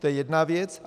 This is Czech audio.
To je jedna věc.